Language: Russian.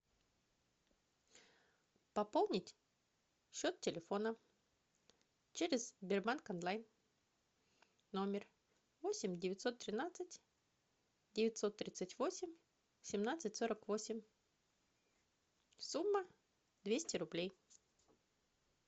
пополнить счет телефона через сбербанк онлайн номер восемь девятьсот тринадцать девятьсот тридцать восемь семнадцать сорок восемь сумма двести рублей